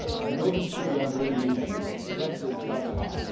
Nobody should be under any illusion Brexit does harm.